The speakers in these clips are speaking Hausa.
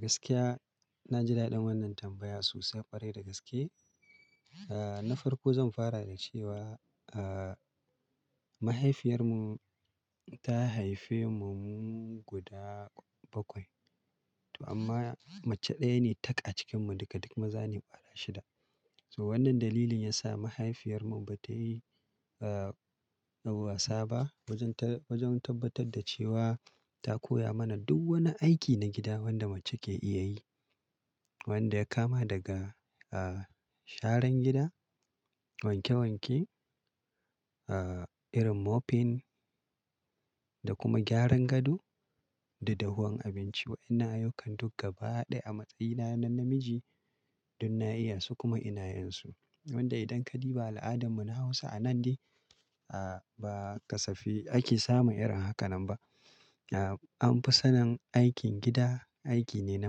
Gaskiya na ji daɗin wannan tambaya sosai ƙwarai da gaske. Na farko zan fara da cewa mahaifiyarmu ta haife mu mu guda bakwai, to amma mace ɗaya ne tak a cikinmu duka duk maza ne ƙwara shida. Na farko zan fara da cewa mahaifiyar mu ta haife mu guda bakwai, toh, amma mace ɗaya ne tak a cikin mu daga duk maza ne bara shida. To wannan dalilin yasa mahaifiyarmu ba ta yi wasa ba wajen ta-wajen tabbatar da cewa ta koya mana duk wani aiki na gida wanda mace ke iya yi. Wa'inna ayyukan duk gaba ɗaya a matsayina na namiji du na iya su kuma ina yin su. Wanda idan ka biba al'adanmu na Hausa a nan dai ba kasafi ake samun irin haka nan ba. An fi sanin aikin gida aiki ne na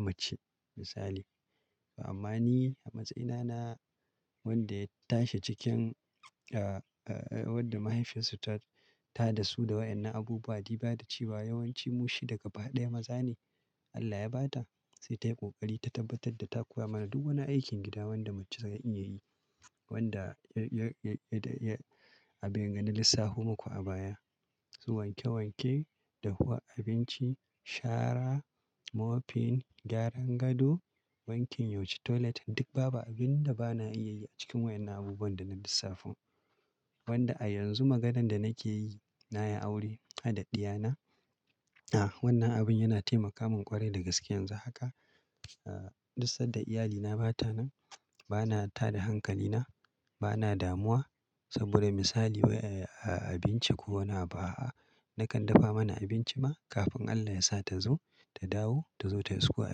mace misali. Wanda ya kama daga sharan gida, wanke wanke, irin mopping da kuma gyaran gado da dafa abinci. Wa'inna ayyukan duk gaba ɗaya a matsayina na namiji duk na iya su kuma ina yin su. Wanda ya-ya-ya-ya a bengane lissafu muku a baya. Su wanke wanke, dahuwa abinci, shara, mopping, gyaran gado, wankin yau shii toilet duk babu abin da ba na iya yi a cikin wayannan abubuwan da na lissafan. Wanda a yanzu maganan da nake yi na yi aure na da ɗiya na. A wannan abun yana taimaka min ƙwarai da gaske yanzu haka. Duk sanda iyalina ba ta nan bana tada hankalina, bana damuwa saboda misali waye a abinci ko wane abu a'a nakan dafa mana abinci ma kafin Allah ya sa ta zo ta dawo ta zo ta yi sukuwa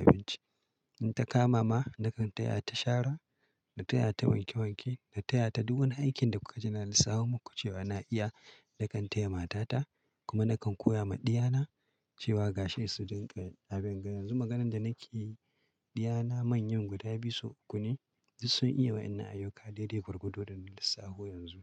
abinci. In ta kama ma nakan taya ta shara, na taya ta wanke wanke, na taya ta duk wani aikin da kuka ji na lissafo muku cewa na iya nakan taya mata ta kuma nakan koya ma ɗiyana cewa gashi su dinga a bengane. Yanzu maganan da nake yi ɗiyana manyan guda biyu su uku ne duk sun iya wayannan ayyuka dai dai gwargwadon da na lissafo yanzu.